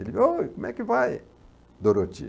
Ele oi, como é que vai, Doroti?